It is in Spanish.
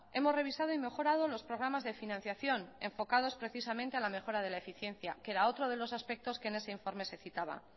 hemos revisado y mejorado los programas de financiación enfocados precisamente a la mejora de la eficiencia que era otro de los aspectos que en ese informe se citaban